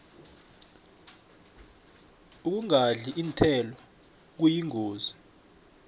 ukungadli iinthelo kuyingozi